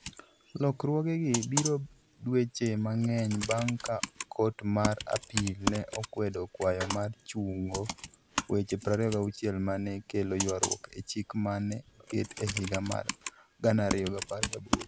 Lokruogegi biro dweche mang'eny bang' ka Kot mar Appeal ne okwedo kwayo mar chungo weche 26 ma ne kelo ywaruok e chik ma ne oket e higa mar 2018.